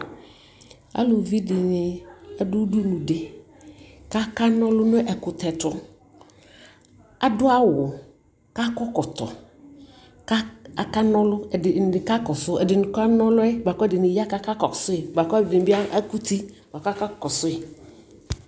alʋvi dini adʋ ʋdʋnʋ di kʋ aka nɔlʋ nʋ ɛkʋtɛ tʋ, adʋ awʋ kʋ akɔ ɛkɔtɔ kʋ aka nɔlʋ, ɛdini kakɔsʋ ɛdini ka nɔlʋɛ bʋakʋ ɛdini ya kʋ akakɔsʋi, bʋakʋ ɛdini bi akʋti bʋa kʋ akakɔsʋi.